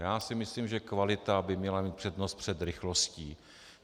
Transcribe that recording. Já si myslím, že kvalita by měla mít přednost před rychlostí.